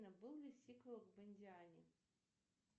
был ли сиквел в индиане